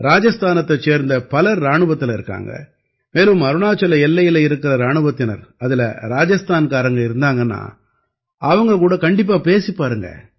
ராஜஸ்தானத்தைச் சேர்ந்த பலர் இராணுவத்தில இருக்காங்க மேலும் அருணாச்சல எல்லையில இருக்கற இராணுவத்தினர் அதில ராஜஸ்தான்காரங்க இருந்தாங்கன்னா அவங்க கூட கண்டிப்பா பேசிப் பாருங்க